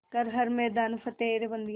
कर हर मैदान फ़तेह रे बंदेया